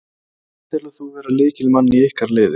Hvern telur þú vera lykilmann í ykkar liði?